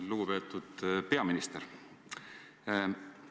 Lugupeetud peaminister!